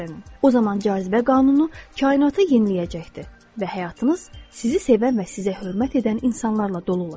O zaman cazibə qanunu kainatı yeniləyəcəkdir və həyatınız sizi sevən və sizə hörmət edən insanlarla dolu olacaq.